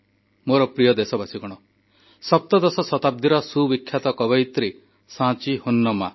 ମୋର ପ୍ରିୟ ଦେଶବାସୀ ସପ୍ତଦଶ ଶତାବ୍ଦୀର ସୁବିଖ୍ୟାତ କବୟିତ୍ରୀ ସାଁଚୀ ହୋନମ୍ମା